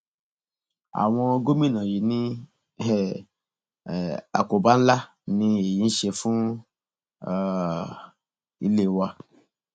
àwọn gómìnà yìí ní um àkóbá ńlá ni èyí ń ṣe fún um ilé wa